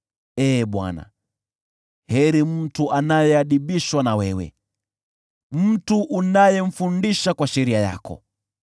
Ee Bwana , heri mtu anayeadhibishwa na wewe, mtu unayemfundisha kwa sheria yako,